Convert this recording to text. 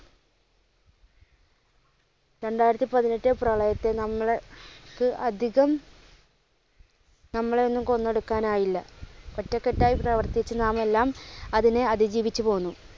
രണ്ടായിരത്തിപ്പതിനെട്ടിലെ പ്രളയത്തിൽ നമ്മൾക്ക് അധികം നമ്മളെ ഒന്നും കൊന്നൊടുക്കാൻ ആയില്ല. ഒറ്റക്കെട്ടായി പ്രവർത്തിച്ചു നാം എല്ലാം അതിനെ അതിജീവിച്ച് പോന്നു.